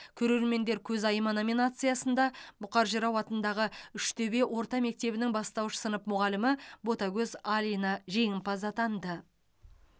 көрермендер көзайымы номинациясында бұқар жырау атындағы үштөбе орта мектебінің бастауыш сынып мұғалімі ботагөз алина жеңімпаз атанды